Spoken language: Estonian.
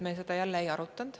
Me seda detailselt ei arutanud.